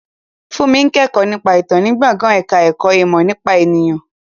Fúnmi ń kẹ́kọ̀ọ́ nípa ìtàn ní gbọ̀ngàn ẹ̀ka ẹ̀kọ́ ìmọ̀ nípa ènìyàn